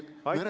Aitäh!